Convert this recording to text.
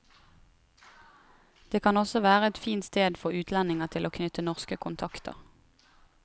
Det kan også være et fint sted for utlendinger til å knytte norske kontakter.